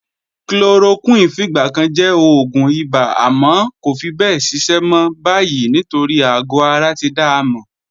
Chloroquine fìgbà kan jẹ́ oògùn ibà àmọ́ kò fi bẹ́ẹ̀ ṣiṣẹ́ mọ́ báyìí nítorí àgọ̀ ara ti dá a mọ̀.